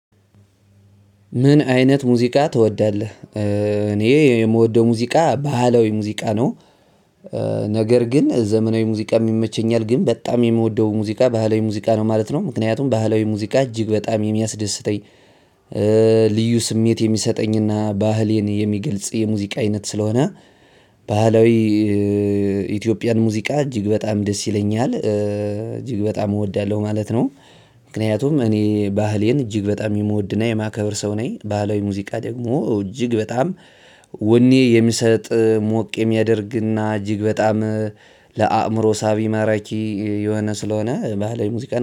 ምን አይነት ሙዚቃ ትወዳለህ? እኔ የምወደው ሙዚቃ ባህላዊ ሙዚቃ ነው። ነገር ግን ዘመናዊ ሙዚቃ ይመቸኛል ግን በጣም የሚወደው ሙዚቃ ባህላዊ ሙዚቃ ነው ማለት ነው። ምክንያቱም ባህላዊ ሙዚቃ እጅግ በጣም የሚያስደስተኝ- ልዩ ስሜት የሚሰጠኝ ና ባህሌን የሚገልጽ የሙዚቃ አይነት ስለሆነ ባህላዊ- ኢትዮጵያን ሙዚቃ እጅግ በጣም ደስ ይለኛል። እጅግ በጣም እወዳለሁ ማለት ነው። ምክንያቱም እኔ ባህሌን እጅግ በጣም የምወድና የማከብር ሰው ነኝ። ባህላዊ ሙዚቃ ደግሞ እጅግ በጣም- ወኔ የሚሰጥ ሞቅ የሚያደርግና እጅግ በጣም ለአእምሮ ሳቢ ማራኪ የሆነ ስለሆነ ባህላዊ ሙዚቃን-